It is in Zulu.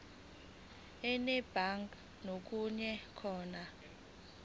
enedbank ngokuya khona